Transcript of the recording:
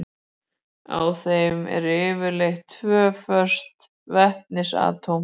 Á þeim eru yfirleitt tvö föst vetnisatóm.